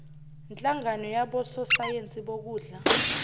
nhlagano yabososayensi bokudla